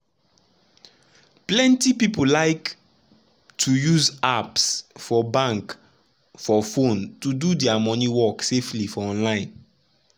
plenty people like to use apps for bank for phone to do dia money work safely for online.